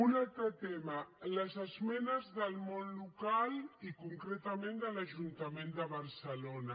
un altre tema les esmenes del món local i concretament de l’ajuntament de barcelona